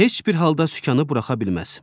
Heç bir halda sükanı buraxa bilməz.